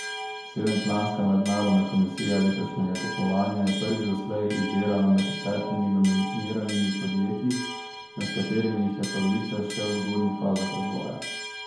Sedemčlanska mednarodna komisija letošnjega tekmovanja je prvič doslej izbirala med desetimi nominiranimi podjetji, med katerimi jih je polovica še v zgodnjih fazah razvoja.